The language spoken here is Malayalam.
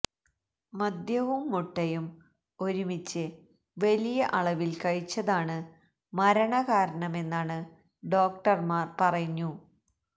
മദ്യവും മുട്ടയും ഒരുമിച്ച് വലിയ അളവില് കഴിച്ചതാണ് മരണകാരണമെന്നാണ് ഡോക്ടര്മാര് പറഞ്ഞു